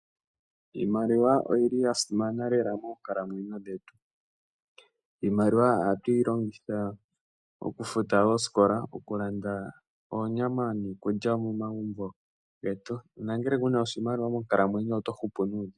Iimaliwa oyili ya simana lela moonkalamwenyo dhetu. Iimaliwa ohatu yi longitha oku futa ooskola oku landa oonyama niikulya momagumbo getu, nangele kuna oshimaliwa monkalamwenyo nena oto hupu nuudhigu.